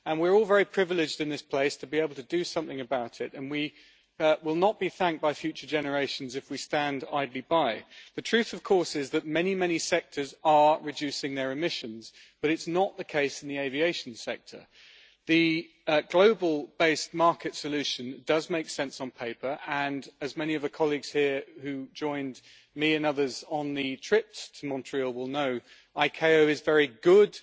We are all very privileged in this place to be able to do something about it and we will not be thanked by future generations if we stand idly by. The truth of course is that many, many sectors are reducing their emissions but it is not the case in the aviation sector. The global based market solution does make sense on paper and as many of the colleagues here who joined me and others on the trip to Montreal will know, the International Civil Aviation Organisation is very good